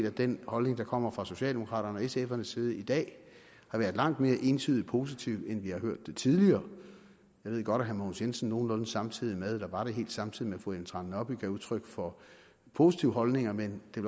at den holdning der kommer fra socialdemokraterne og sfs side i dag har været meget mere entydigt positiv end vi har hørt det tidligere jeg ved godt at herre mogens jensen nogenlunde samtidig med eller var det helt samtidig med fru ellen trane nørby gav udtryk for positive holdninger men det